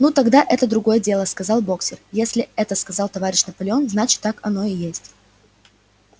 ну тогда это другое дело сказал боксёр если это сказал товарищ наполеон значит так оно и есть